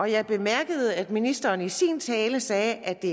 jeg bemærkede at ministeren i sin tale sagde at det